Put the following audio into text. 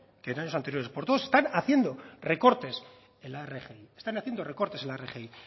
que en años anteriores porque todos están haciendo recortes en la rgi están haciendo recortes en la rgi